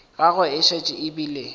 gagwe e šetše e bile